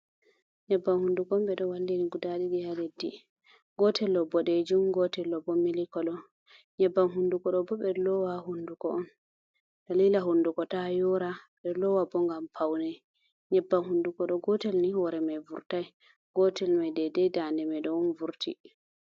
Nyebbam hunnduko on, ɓe ɗo wallini guda ɗiɗi haa leddi, gootel ɗo boɗeejum, gootel bo mili kolo. Nyebbam hunnduko ɗo bo, ɓe ɗo loowa haa hunnduko on, dalila hunnduko ta yoora, ɓe loowa bo ngam pawne. Nyebbam hunnduko ɗo, gootel ni hoore may vurtai, gootel may deday daande may ɗo on vurti.